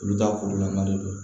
Olu ta kurulama de don